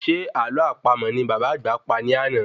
Se àlọ́ àpamọ̀ ní bàbá àgbà pa ní àná?